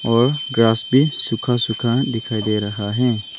और भी सूखा सूखा दिखाई दे रहा है।